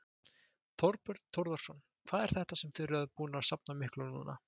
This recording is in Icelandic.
Þorbjörn Þórðarson: Hvað er þetta sem þið eruð búin að safna miklu núna?